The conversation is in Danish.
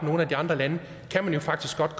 nogle af de andre lande faktisk godt